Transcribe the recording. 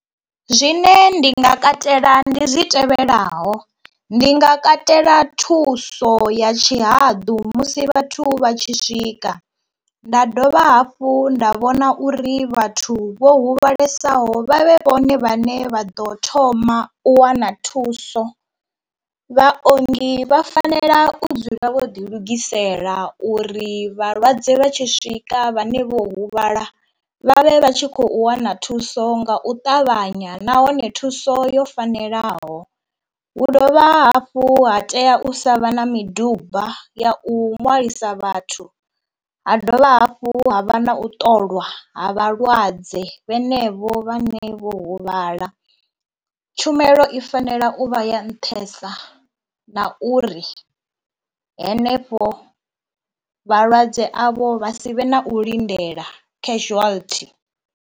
Zwine ndi nga katela ndi zwi tevhelaho, ndi nga katela thuso ya tshihaḓu musi vhathu vha tshi swika, nda dovha hafhu nda vhona uri vhathu vho huvhalesaho vha vhe vhone vhane vha ḓo thoma u wana thuso. Vhaongi vha fanela u dzula vho ḓilugisela uri vhalwadze vha tshi swika vhane vho huvhala vhavhe vha tshi khou wana thuso nga u ṱavhanya nahone thuso yo fanelaho, hu dovha hafhu ha tea u sa vha na miduba ya u ṅwalisa vhathu, ha dovha hafhu ha vha na u ṱolwa ha vhalwadze vhane vho vhane vho huvhala. Tshumelo i fanela u vha ya nṱhesa na uri henefho vhalwadze avho vha si vhe na u lindela casualty.